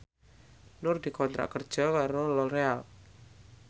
Nur dikontrak kerja karo Loreal